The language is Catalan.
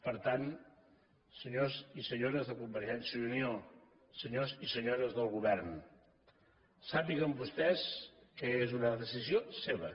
per tant senyors i senyores de convergència i unió senyors i senyores del govern sàpiguen vostès que és una decisió seva